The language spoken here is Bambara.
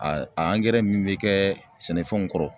A a angɛrɛ min be kɛɛ sɛnɛfɛnw kɔrɔ